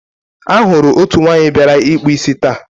a hụrụ otu nwanyị bịara ịkpụ isi taa.